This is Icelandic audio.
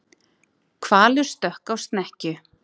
Hvalur stökk á snekkju